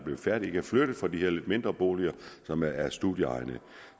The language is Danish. er færdige ikke er flyttet fra de her lidt mindre boliger som er studieegnede